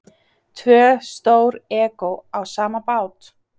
Tvö stór egó á sama bát?